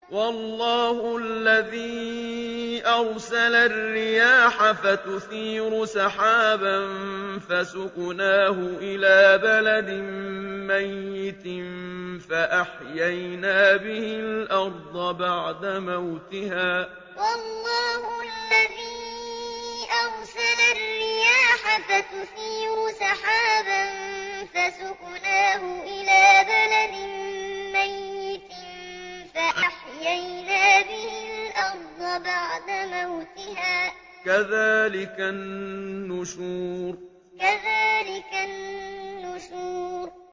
وَاللَّهُ الَّذِي أَرْسَلَ الرِّيَاحَ فَتُثِيرُ سَحَابًا فَسُقْنَاهُ إِلَىٰ بَلَدٍ مَّيِّتٍ فَأَحْيَيْنَا بِهِ الْأَرْضَ بَعْدَ مَوْتِهَا ۚ كَذَٰلِكَ النُّشُورُ وَاللَّهُ الَّذِي أَرْسَلَ الرِّيَاحَ فَتُثِيرُ سَحَابًا فَسُقْنَاهُ إِلَىٰ بَلَدٍ مَّيِّتٍ فَأَحْيَيْنَا بِهِ الْأَرْضَ بَعْدَ مَوْتِهَا ۚ كَذَٰلِكَ النُّشُورُ